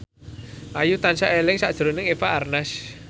Ayu tansah eling sakjroning Eva Arnaz